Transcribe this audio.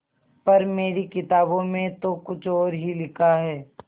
पर मेरी किताबों में तो कुछ और ही लिखा है